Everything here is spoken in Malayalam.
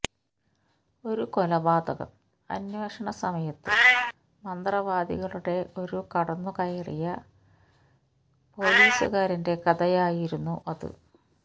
ഒരു കൊലപാതകം അന്വേഷണ സമയത്ത് മന്ത്രവാദികളുടെ ഒരു കടന്നുകയറിയ പോലീസുകാരന്റെ കഥയായിരുന്നു അത്